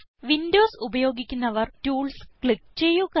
Windows ഉപയോഗിക്കുന്നവർ tools click ചെയ്യുക